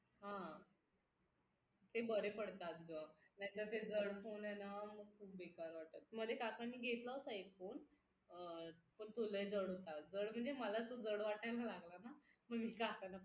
हा ते बरे पडतात ग नाहीतर ते जड फोन आहे ना मग खूप बेकार वाटतात मध्ये काकांनी घेतला होता एक फोन पण तो लय जड होता अगं जड म्हणजे मला तो जड वाटायला लागला ना मग मी काकांना